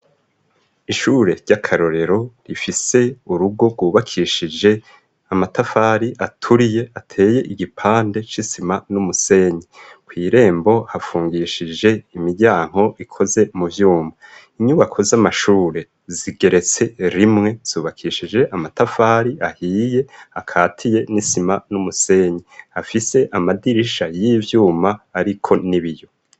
Ishure ry'akarorero rifise urugo rwubakishije amatafari aturiye ateye igipande c'isima n'umusenyi kw'irembo hafungishije imiryanko ikoze mu vyumba inyubako z'amashure zigeretse rimwe zubakishije amatafari ahiye akatiye n'isima n'umusenyi afise amadirisha y'ivyuma, ariko nibiyo.